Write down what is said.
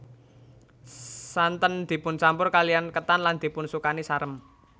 Santen dipun campur kaliyan ketan lan dipun sukani sarem